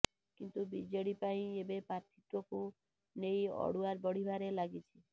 କିନ୍ତୁ ବିଜେଡ଼ି ପାଇଁ ଏବେ ପ୍ରାର୍ଥୀତ୍ୱକୁ ନେଇ ଅଡ଼ୁଆ ବଢିବାରେ ଲାଗିଛି